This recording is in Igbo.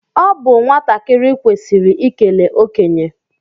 Ọ bụ nwatakịrị kwesịrị ikele okenye